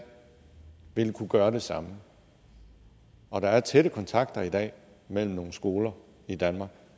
ville kunne gøre det samme og der er tætte kontakter i dag mellem nogle skoler i danmark